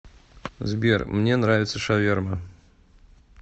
сбер мне нравится шаверма